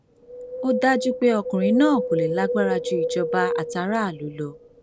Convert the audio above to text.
ó dájú pé ọkùnrin náà kò lè lágbára ju ìjọba àtàráàlú lọ